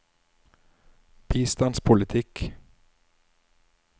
bistandspolitikk